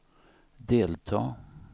delta